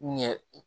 Ɲɛ